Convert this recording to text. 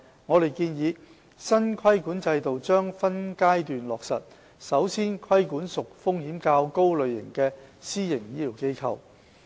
我們建議，新規管制度將分階段落實，首先規管屬風險較高類型的私營醫療機構。